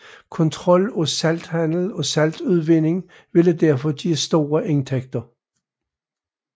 Kontrol af salthandel og saltudvinding ville derfor give store indtægter